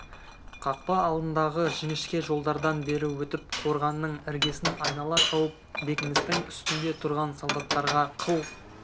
қақпа алдындағы жіңішке жолдардан бері өтіп қорғанның іргесін айнала шауып бекіністің үстінде тұрған солдаттарға қыл